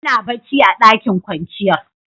Muna bacci a ɗakin kwanciyar.